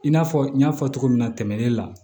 I n'a fɔ n y'a fɔ cogo min na tɛmɛnen na